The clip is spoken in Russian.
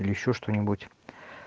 или ещё что-нибудь